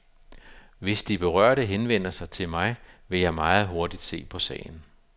Hvis de berørte henvender sig til mig, vil jeg meget hurtigt se på sagen.